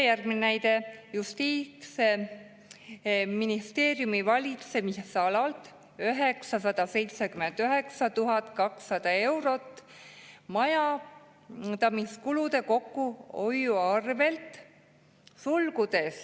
Järgmine näide: Justiitsministeeriumi valitsemisalalt 979 200 eurot majandamiskulude kokkuhoiu arvelt.